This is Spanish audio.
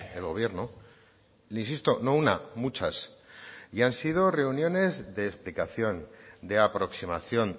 el gobierno insisto no una muchas y han sido reuniones de explicación de aproximación